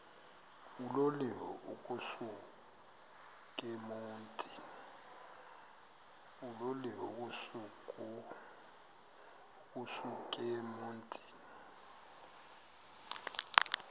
uloliwe ukusuk emontini